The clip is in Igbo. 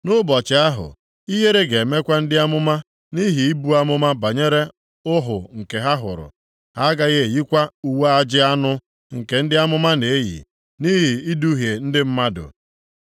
“Nʼụbọchị ahụ, ihere ga-emekwa ndị amụma nʼihi ibu amụma banyere ọhụ nke ha hụrụ. Ha agaghị eyikwa uwe ajị anụ nke ndị amụma na-eyi nʼihi iduhie ndị mmadụ,